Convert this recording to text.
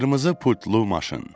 Qırmızı pultlu maşın.